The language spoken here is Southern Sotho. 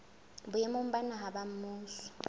boemong ba naha ba mmuso